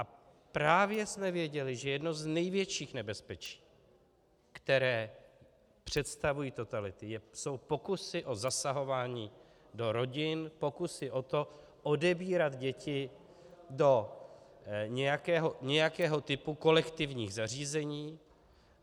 A právě jsme věděli, že jedno z největších nebezpečí, které představují totality, jsou pokusy o zasahování do rodin, pokusy o to odebírat děti do nějakého typu kolektivních zařízení.